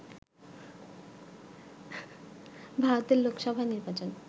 ভারতের লোকসভা নির্বাচন